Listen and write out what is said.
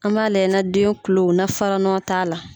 An b'a lajɛ na den kulo na fara nɔn t'a la.